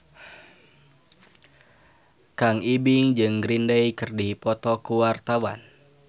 Kang Ibing jeung Green Day keur dipoto ku wartawan